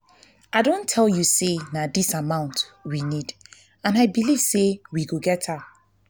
i don tell you say na dis amount we need and i believe we go get am